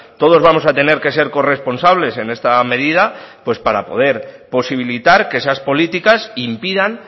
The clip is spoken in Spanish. todos vamos a tener que ser corresponsables en esta medida pues para poder posibilitar que esas políticas impidan